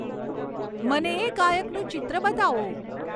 મને એ ગાયકનું ચિત્ર બતાવો